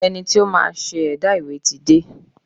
Ẹni tí ó máa ṣe ẹ̀dà ìwé ti dé.